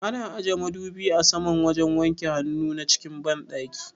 Ana aje madubi a saman wajen wanke hannuwa na cikin banɗaki